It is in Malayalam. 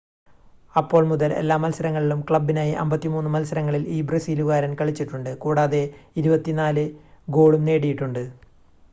അപ്പോൾ മുതൽ എല്ലാ മത്സരങ്ങളിലും ക്ലബ്ബിനായി 53 മത്സരങ്ങളിൽ ഈ ബ്രസീലുകാരൻ കളിച്ചിട്ടുണ്ട് കൂടാതെ 24 ഗോളും നേടിയിട്ടുണ്ട്